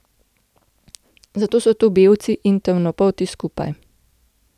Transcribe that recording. Zato so tu belci in temnopolti skupaj.